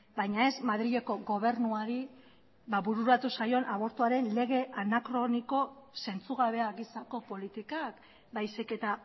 baina ez madrileko gobernuari bururatu zaion abortuaren lege anakroniko zentzugabea gisako politikak baizik eta